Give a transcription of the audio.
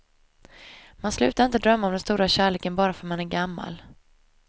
Man slutar inte drömma om den stora kärleken bara för att man är gammal.